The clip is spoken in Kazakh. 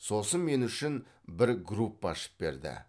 сосын мен үшін бір группа ашып берді